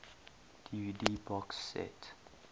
dvd box set